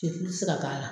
tɛ se ka k'a la